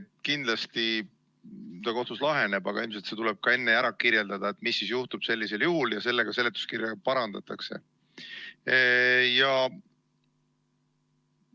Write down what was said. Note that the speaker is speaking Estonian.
Kindlasti ta kohtus laheneb, aga ilmselt tuleb enne kirjeldada, mis sellisel juhul juhtub, ja sellega seoses ka seletuskirja parandada.